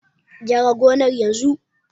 Gyara gonar yanzu!